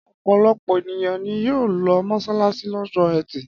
Ọ̀pọ̀lọpọ̀ ènìyàn ni yóò lọ mọ́ṣáláṣí lọ́jọ́ ẹtì.